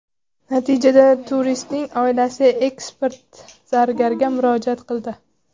Natijada turistning oilasi ekspert zargarga murojaat qildi.